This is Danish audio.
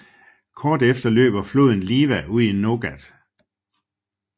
Kort efter løber flodn Liwa ud i Nogat